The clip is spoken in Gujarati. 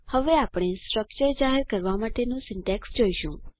હવે આપણે સ્ટ્રક્ચર જાહેર કરવા માટેનું સીન્ટેક્ષ જોઈશું